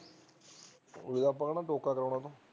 ਹੁਣ ਕਿਹੜਾ ਸੋਖਾ ਦਵਾਉਣਾ ਉਹਨੂੰ